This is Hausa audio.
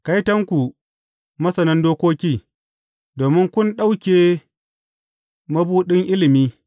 Kaitonku, masanan dokoki, domin kun ɗauke mabuɗin ilimi.